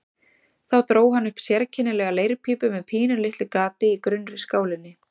Þá dró hann upp sérkennilega leirpípu með pínulitlu gati í grunnri skálinni.